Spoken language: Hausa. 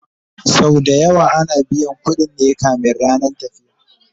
Sau da yawa ana biyan ƙuɗin ne kamin rannan tafiya